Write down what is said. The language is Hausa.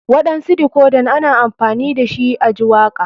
Waɗansu dikodan ana amfani dashi a ji waka.